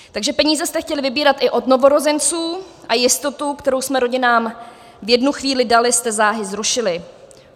Takže peníze jste chtěli vybírat i od novorozenců a jistotu, kterou jsme rodinám v jednu chvíli dali, jste záhy zrušili.